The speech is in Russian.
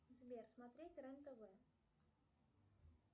сбер смотреть рен тв